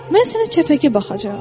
Mən sənə çəpəki baxacaam.